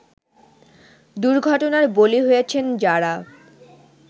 দুর্ঘটনার বলি হয়েছেন যারা